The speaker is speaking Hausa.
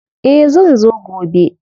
Eh zan zo gobe.